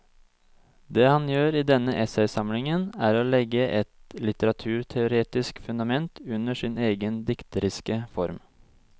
Det han gjør i denne essaysamlingen er å legge et litteraturteoretisk fundament under sin egen dikteriske form.